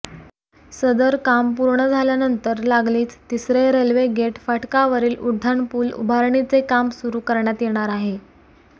सदर काम पूर्ण झाल्यानंतर लागलीच तिसरे रेल्वेगेट फाटकावरील उड्डाणपूल उभारणीचे काम सुरू करण्यात येणार आहे